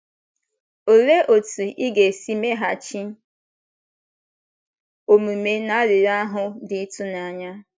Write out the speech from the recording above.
Olee otú ị ga-esi meghachi omume n’arịrịọ ahụ dị ịtụnanya?